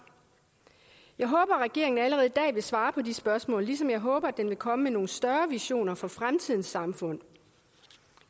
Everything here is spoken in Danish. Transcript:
jeg håber at regeringen allerede i dag vil svare på de spørgsmål ligesom jeg håber at den vil komme med nogle større visioner for fremtidens samfund